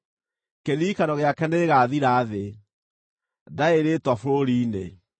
Kĩririkano gĩake nĩ gĩgaathira thĩ; ndarĩ rĩĩtwa bũrũri-inĩ.